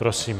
Prosím.